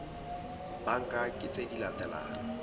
banka ke tse di latelang